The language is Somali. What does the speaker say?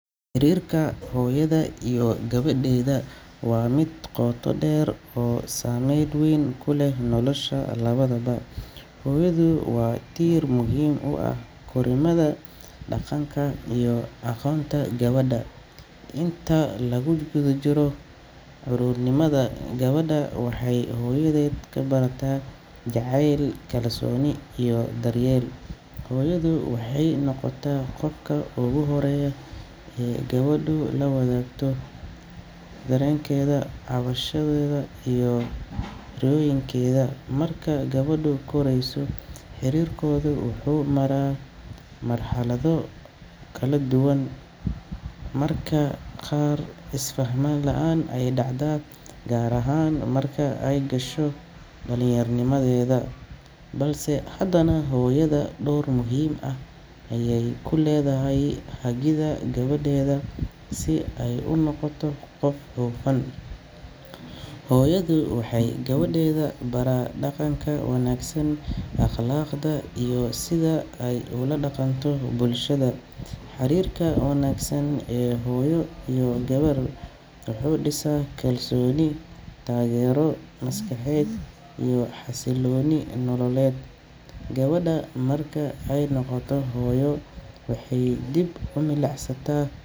Xiriirka hooyada iyo gabadheeda waa mid qoto dheer oo saameyn weyn ku leh nolosha labadaba. Hooyadu waa tiir muhiim u ah korriimada, dhaqanka, iyo aqoonta gabadha. Inta lagu jiro caruurnimada, gabadhu waxay hooyadeed ka barataa jacayl, kalsooni, iyo daryeel. Hooyadu waxay noqotaa qofka ugu horreeya ee gabadhu la wadaagto dareenkeeda, cabashadeeda iyo riyooyinkeeda. Marka gabadhu korayso, xiriirkooda wuxuu maraa marxalado kala duwan—marka qaar, isfaham la'aan ayaa dhacda, gaar ahaan marka ay gasho dhalinyaronimada, balse hadana hooyada door muhiim ah ayay ku leedahay hagida gabadheeda si ay u noqoto qof hufan. Hooyadu waxay gabadheeda baraa dhaqanka wanaagsan, akhlaaqda, iyo sida ay ula dhaqanto bulshada. Xiriirka wanaagsan ee hooyo iyo gabar wuxuu dhisaa kalsooni, taageero maskaxeed iyo xasillooni nololeed. Gabadha marka ay noqoto hooyo, waxay dib u milicsataa.